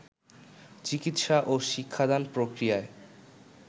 চিকিৎসা ও শিক্ষাদান প্রক্রিয়ায়